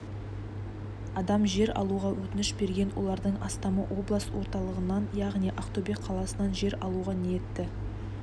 адам жер алуға өтініш берген олардың астамы облыс орталығынан яғни ақтөбе қаласынан жер алуға ниетті